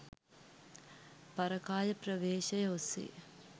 පරකාය ප්‍රවේශය ඔස්සේ